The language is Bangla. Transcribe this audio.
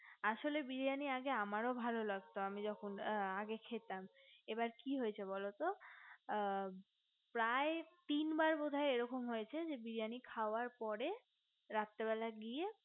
আসলে বিরিয়ানি আগে আমার রো ভালো লাগতো আমি যখন আগে খেতাম এবার কি হয়েছে বলতো প্রায় তিন বার বোধয় এরকম হয়েছে বিরিয়ানি খাওয়ার পরে রাত্রে বেলা গিয়ে